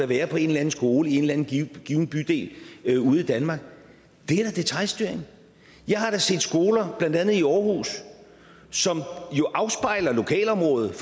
være på en eller anden skole i en eller anden given bydel i danmark er da detailstyring jeg har set skoler blandt andet i aarhus som jo afspejler lokalområdet